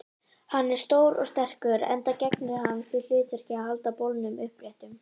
Annað sem eykur hamingju hans er að eignast góðan lífsförunaut og heilbrigða afkomendur.